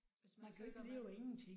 Hvis man føler man